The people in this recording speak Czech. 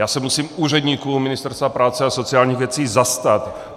Já se musím úředníků Ministerstva práce a sociálních věcí zastat.